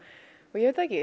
ég veit það ekki